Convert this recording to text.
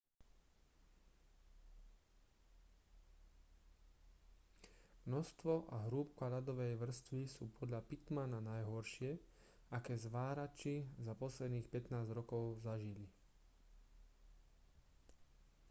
množstvo a hrúbka ľadovej vrstvy sú podľa pittmana najhoršie aké zvárači za posledných 15 rokov zažili